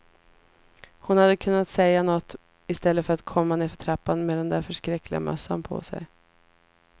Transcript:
Hon hade kunnat säga något, i stället för att komma nedför trappan med den där förskräckliga mössan på sig.